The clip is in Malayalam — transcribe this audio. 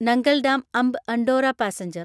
Nangal dam Amb Andaura passenger